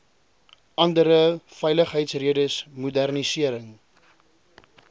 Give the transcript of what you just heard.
andere veiligheidsredes modernisering